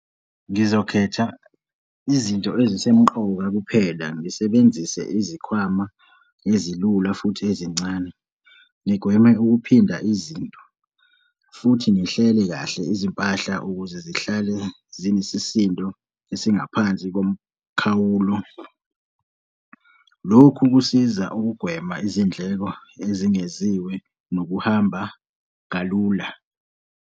Ngizokhetha izinto ezisemqoka kuphela, ngisebenzise izikhwama ezilula futhi ezincane, ngigweme ukuphinda izinto futhi ngihlele kahle izimpahla ukuze zihlale zinesisindo esingaphansi komkhawulo. Lokhu kusiza ukugwema izindleko ezingeziwe nokuhamba kalula.